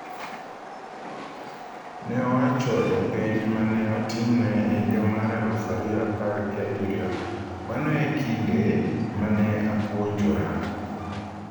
Ne owacho e penj ma ne otimne e higa mar aluf ariyo apar gi abirio: “Mano e kinde ma ne apuonjora.”